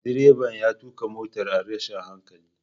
Direba ya tuka motar a rashin hankali.